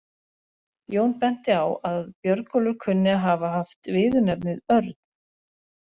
Jón benti á að Björnólfur kunni að hafa haft viðurnefnið örn.